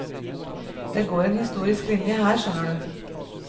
Det går en historisk linje, her, skjønner du.